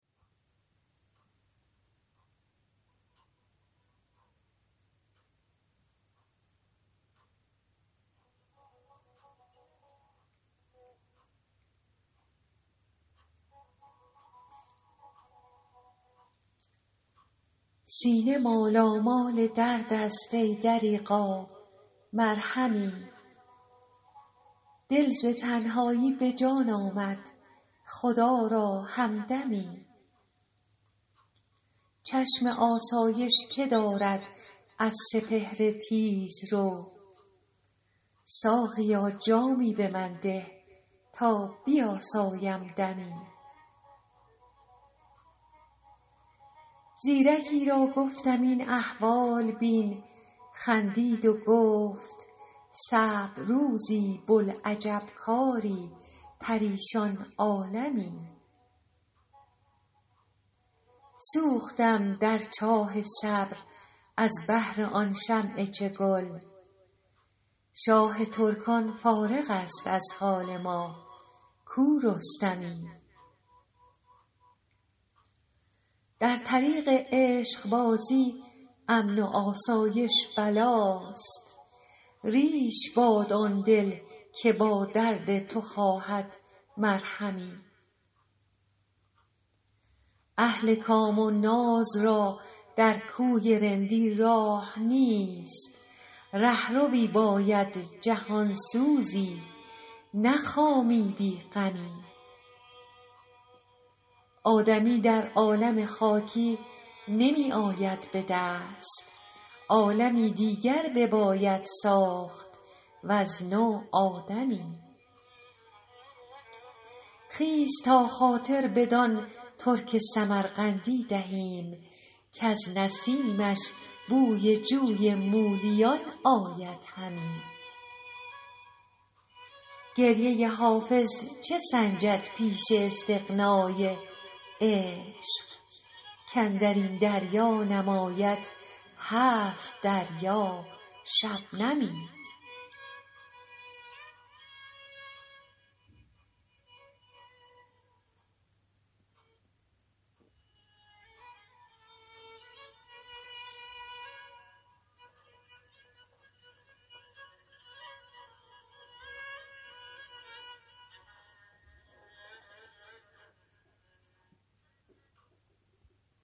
سینه مالامال درد است ای دریغا مرهمی دل ز تنهایی به جان آمد خدا را همدمی چشم آسایش که دارد از سپهر تیزرو ساقیا جامی به من ده تا بیاسایم دمی زیرکی را گفتم این احوال بین خندید و گفت صعب روزی بوالعجب کاری پریشان عالمی سوختم در چاه صبر از بهر آن شمع چگل شاه ترکان فارغ است از حال ما کو رستمی در طریق عشق بازی امن و آسایش بلاست ریش باد آن دل که با درد تو خواهد مرهمی اهل کام و ناز را در کوی رندی راه نیست رهروی باید جهان سوزی نه خامی بی غمی آدمی در عالم خاکی نمی آید به دست عالمی دیگر بباید ساخت وز نو آدمی خیز تا خاطر بدان ترک سمرقندی دهیم کز نسیمش بوی جوی مولیان آید همی گریه حافظ چه سنجد پیش استغنای عشق کاندر این دریا نماید هفت دریا شبنمی